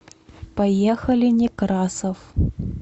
поехали некрасов